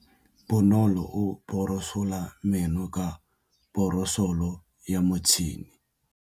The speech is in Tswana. Bonolô o borosola meno ka borosolo ya motšhine.